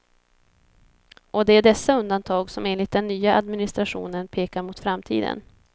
Och det är dessa undantag som enligt den nya administrationen pekar mot framtiden.